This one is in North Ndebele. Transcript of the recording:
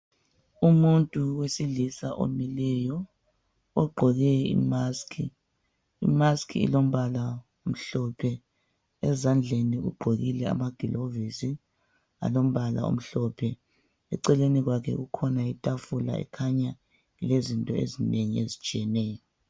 Umuntu wesilisa omileyo ,ogqoke imask .Imask ilombala omhlophe , ezandleni ugqokile amagilovisi alombala omhlophe. Eceleni kwakhe kukhona ithafula ekhanya ilezinto ezinengi ezitshiyeneyo.